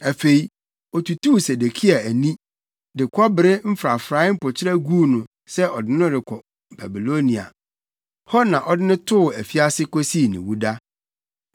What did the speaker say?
Afei otutuu Sedekia ani, de kɔbere mfrafrae mpokyerɛ guu no sɛ ɔde no rekɔ Babilonia, hɔ na ɔde no too afiase kosii ne wuda.